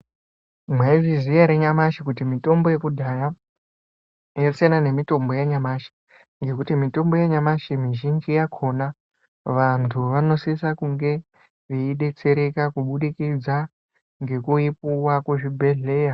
Mwaizviziya ere nyamashi kuti mitombo yekudhaya yasiyana nemitombo yenyamashi ngekuti mitombo yanyamashi mizhinji yakona, vantu vanosisa kunge veidetsereka kubudikidza ngekuipuwa kuzvibhedhleya